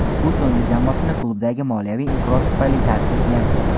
U so‘nggi jamoasini klubdagi moliyaviy inqiroz tufayli tark etgan.